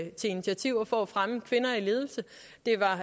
til initiativer for at fremme kvinder i ledelse det var